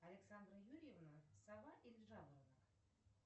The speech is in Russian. александра юрьевна сова или жаворонок